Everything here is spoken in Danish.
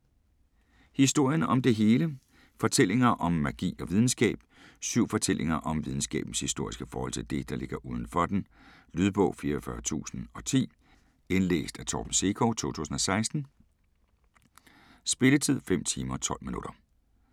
Historien om det hele: fortællinger om magi og videnskab Syv fortællinger om videnskabens historiske forhold til det, der ligger udenfor den. Lydbog 44010 Indlæst af Torben Sekov, 2016. Spilletid: 5 timer, 12 minutter.